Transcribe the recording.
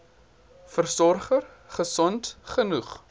versorger gesond genoeg